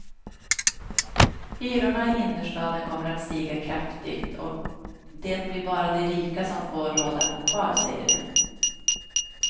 Hyrorna i innerstaden kommer att stiga kraftigt och det blir bara de rika som får råd att bo kvar, säger de.